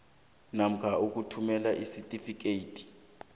namkha ukuthumela isitifikedi